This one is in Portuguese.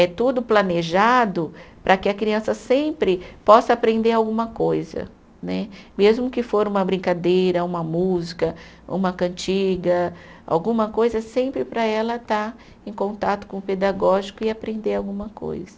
É tudo planejado para que a criança sempre possa aprender alguma coisa né, mesmo que for uma brincadeira, uma música, uma cantiga, alguma coisa, sempre para ela estar em contato com o pedagógico e aprender alguma coisa.